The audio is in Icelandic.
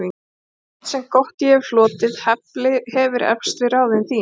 Allt, sem gott ég hefi hlotið, hefir eflst við ráðin þín.